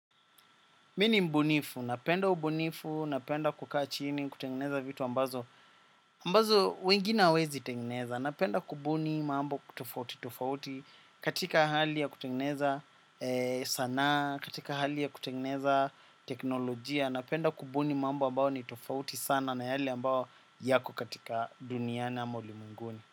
Mi ni mbunifu, napenda ubunifu, napenda kukaa chini, kutengeneza vitu ambazo, ambazo wengine hawawezi tengeneza, napenda kubuni mambo tofauti, tofauti, katika hali ya kutengeneza sanaa, katika hali ya kutengeneza teknolojia, napenda kubuni mambo ambayo ni tofauti sana na yale ambayo yako katika duniani ama ulimwenguni.